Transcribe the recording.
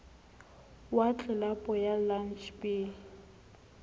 wa tlelapo ya lantjhe b